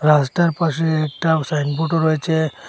রাস্তার পাশে একটা সাইনবোর্ডও রয়েছে।